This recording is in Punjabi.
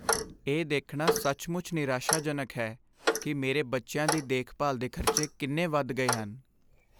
ਇਹ ਦੇਖਣਾ ਸੱਚਮੁੱਚ ਨਿਰਾਸ਼ਾਜਨਕ ਹੈ ਕਿ ਮੇਰੇ ਬੱਚਿਆਂ ਦੀ ਦੇਖਭਾਲ ਦੇ ਖ਼ਰਚੇ ਕਿੰਨੇ ਵੱਧ ਗਏ ਹਨ।